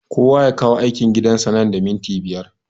Kowa ya kawo aikin gidan sa nan da mintuna biyar